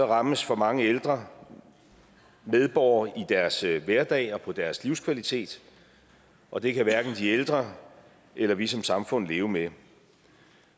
rammes for mange ældre medborgere i deres hverdag og på deres livskvalitet og det kan hverken de ældre eller vi som samfund leve med